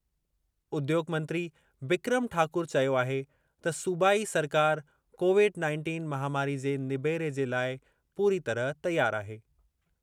उद्योॻ मंत्री बिक्रम ठाकुर चयो आहे त सूबाई सरकार कोविड-नाइनटीन महामारी जे निबेरे जे लाइ पूरी तरह तयार आहे।